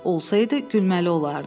Olsaydı, gülməli olardı.